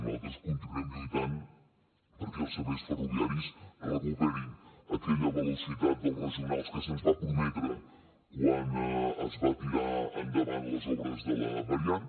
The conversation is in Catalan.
nosaltres continuem lluitant perquè els serveis ferroviaris recuperin aquella velocitat dels regionals que se’ns va prometre quan es va tirar endavant les obres de la variant